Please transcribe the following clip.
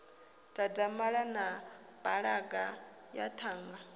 dadamala na balaga ya ṱhanga